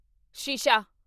ਸ਼ੀਸ਼ਾ